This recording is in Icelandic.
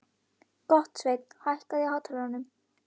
Gottsveinn, hækkaðu í hátalaranum.